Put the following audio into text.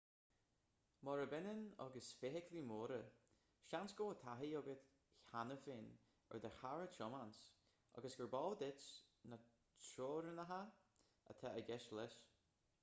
murab ionann agus feithiclí móra seans go bhfuil taithí agat cheana féin ar do charr a thiomáint agus gurb eol duit na teorainneacha atá i gceist leis